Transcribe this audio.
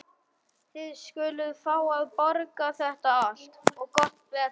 Þið skuluð fá að borga þetta allt. og gott betur!